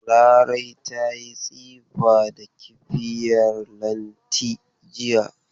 Larai ta yi tsifa da kibiyar Lanti jiya.